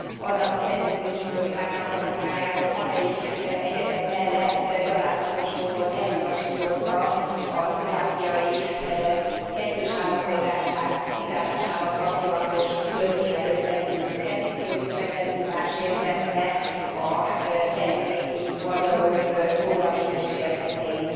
Annak a Petíciós Bizottságnak a munkájáról, amelyik egyebek mellett gyalázatos módon elutasította a szlovákiai kettős állampolgárság kizárásával kapcsolatos törvénnyel összefüggő petíciót, és ezzel durván sértette a felvidéki magyarok jogait és érdekeit.